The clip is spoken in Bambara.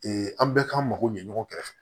an bɛɛ k'an mako ɲɛ ɲɔgɔn kɛrɛfɛ